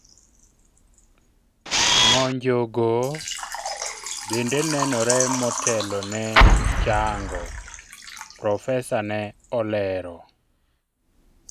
ng'onjo go bende nenore motelo ne chango, profesa ne olero